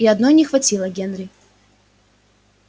и одной не хватило генри